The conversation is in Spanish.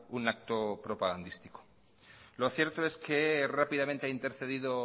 un acto propagandístico lo cierto es que rápidamente ha intercedido